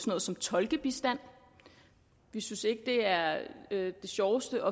noget som tolkebistand vi synes ikke at det er det sjoveste